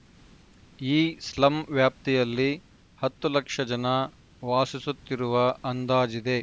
ಈ ಸ್ಲಂ ವ್ಯಾಪ್ತಿಯಲ್ಲಿ ಹತ್ತು ಲಕ್ಷ ಜನ ವಾಸಿಸುತ್ತಿರುವ ಅಂದಾಜಿದೆ